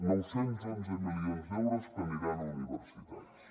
nou cents i onze milions d’euros que aniran a universitats